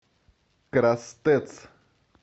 крастэц